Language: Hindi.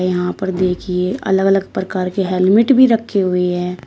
यहां पर देखिए अलग अलग प्रकार के हेलमेट भी रखे हुए है।